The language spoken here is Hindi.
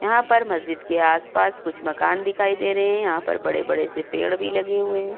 यहाँ पर महजीद के आस-पास कुछ मकान दिखाई दे रहे हैं। यहाँ पर बड़े-बड़े से पेड़ भी लगे हुए हैं।